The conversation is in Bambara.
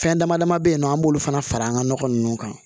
Fɛn dama dama be yen nɔ an b'olu fana fara an ga nɔgɔ nunnu kan